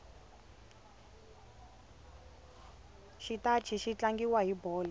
xitachi xi tlangiwa hi bolo